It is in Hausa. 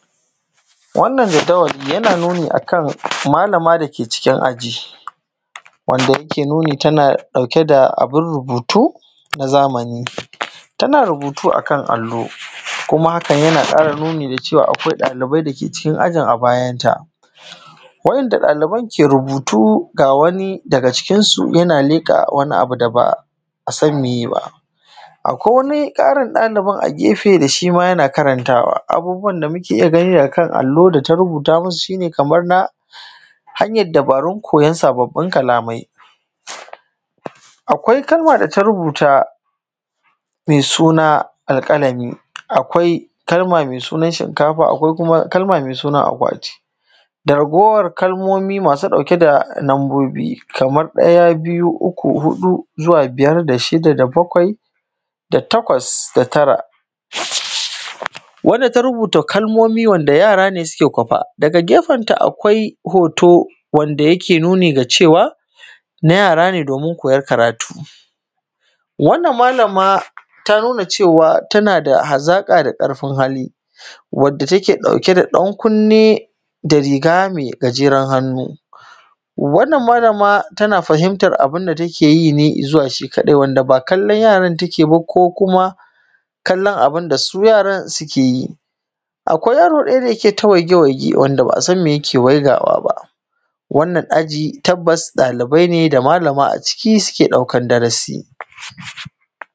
wannan jadawali jana nuni akan malama da ke cikin aji wanda yake nuni tana ɗauke da abin rubutu na zamani tana rubutu akan allo kuma haka jana ƙara nuni da cewa akwai ɗalibai da ke cikin aji a bajanta wainda ɗaliban ke rubutu ga wani daga cikinsu yana leƙa wani abu da ba a san miyeba akwai wani ƙarin ɗalibin a gefe da shima jana karantawa abubuwan da muke iya gani akan allo da ta rubuta musu shine kamar na hanjyr dubarun kojon sababbin kalamai akwai kalma da ta rubuta mai suna alƙalami akwai kalma mai sunan shinkafa akwai kuma kalma mai sunan akwatin da raguwan kalmomi masu ɗauke da lambobi kamar ɗaya biyu uku huɗu zuwa biyar da shida da bakwai da takwas da tara wanda ta rubuta kalmomi wanda yara ne suke kwafo daga gefenta akwai hoto wanda yake nuni ga cewa na yara ne domin koyan karatu wannan malama ta nuna cewa tana da hazaƙa da ƙarfin hali wadda take ɗauke da ɗan kunne da riga mai gajeren hannu wannan malama tana fahimtar abunda take yi ne izuwa shi kaɗai wanda ba kallan yaran take yi ba ko kuma kallan abun da su yaran suke yi akwai yaro ɗaya da jike ta waige waige wanda ba a san mai yake waigawaba wannan aji tabbas ɗalibai ne da malama a ciki suke ɗaukan darasi